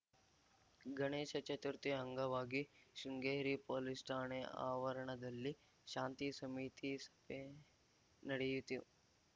ಗಣೇಶ ಚತುರ್ಥಿ ಅಂಗವಾಗಿ ಶೃಂಗೇರಿ ಪೊಲೀಸ್‌ ಠಾಣೆ ಆವರಣದಲ್ಲಿ ಶಾಂತಿ ಸಮಿತಿ ಸಭೆ ನಡೆಯಿತು